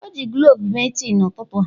O ji cloves mee tii n'ụtụtụ a.